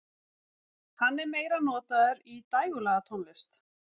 Hann er meira notaður í dægurlagatónlist.